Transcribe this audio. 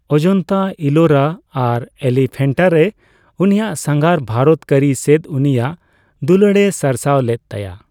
ᱚᱡᱚᱱᱛᱟ, ᱤᱞᱳᱨᱟ ᱟᱨ ᱮᱞᱤᱯᱷᱮᱱᱴᱟᱨᱮ ᱩᱱᱤᱭᱟᱜ ᱥᱟᱸᱜᱷᱟᱨ ᱵᱷᱟᱨᱚᱛ ᱠᱟᱹᱨᱤ ᱥᱮᱫ ᱩᱱᱤᱭᱟᱜ ᱫᱩᱞᱟᱹᱲᱮ ᱥᱟᱨᱥᱟᱣ ᱞᱮᱫ ᱛᱟᱭᱟ᱾